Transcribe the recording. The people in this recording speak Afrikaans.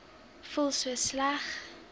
voel so sleg